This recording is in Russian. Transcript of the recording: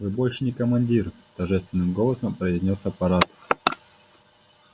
вы больше не командир торжественным голосом произнёс апорат